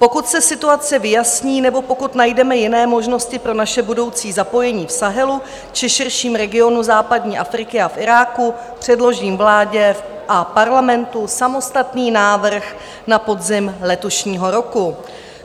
Pokud se situace vyjasní nebo pokud najdeme jiné možnosti pro naše budoucí zapojení v Sahelu či širším regionu západní Afriky a v Iráku, předložím vládě a Parlamentu samostatný návrh na podzim letošního roku.